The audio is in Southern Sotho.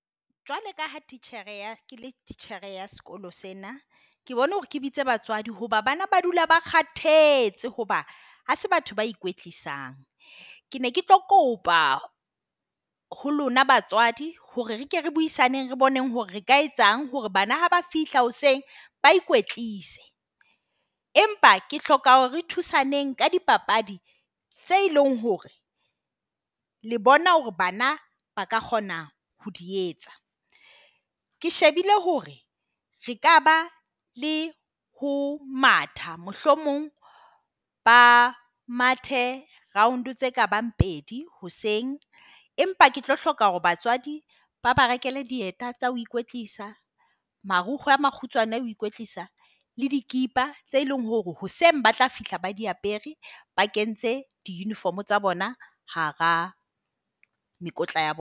Jwale ka ha titjhere ya titjhere ya sekolo sena, ke bone hore ke bitse batswadi, hoba bana ba dula ba kgathetse hoba hase batho ba ikoetlisa. Ke ne ke tlo kopa ho lona batswadi hore re ke re buisaneng, re boneng hore re ka etsang hore bana haba fihla hoseng ba ikwetlise, empa ke hloka hore re thusaneng ka di papadi tse leng hore le bona hore bana ba ka kgona ho di etsa. Ke shebile hore re ka ba le ho matha mohlomong ba mathe Round tseka bang pedi hoseng. Empa ke tlo hloka hore batswadi ba ba rekele dieta tsa ho ikwetlisa marukgoe a makgutshoane hoe koetlisa le di tse leng hore hoseng ba tla fihla ba di apere ba kentse di uniform tsa bona. Hara mekotla ya